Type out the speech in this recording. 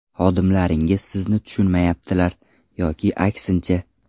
Xodimlaringiz sizni tushunmayaptilar yoki aksincha.